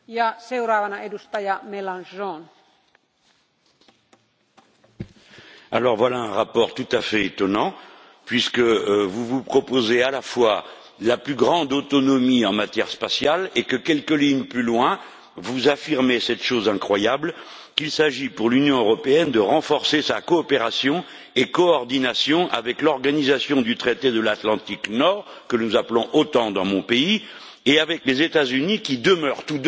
Madame la Présidente, voilà un rapport tout à fait étonnant, puisque vous proposez à la fois la plus grande autonomie en matière spatiale et que, quelques lignes plus loin, vous affirmez cette chose incroyable qu'il s'agit pour l'Union européenne de renforcer sa coopération et sa coordination avec l'Organisation du traité de l'Atlantique Nord, que nous appelons OTAN dans mon pays, et avec les États Unis, qui demeurent tous deux